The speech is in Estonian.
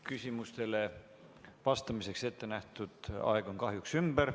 Küsimustele vastamiseks ettenähtud aeg on kahjuks ümber.